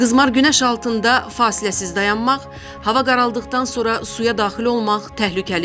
Qızmar günəş altında fasiləsiz dayanmaq, hava qaraldıqdan sonra suya daxil olmaq təhlükəlidir.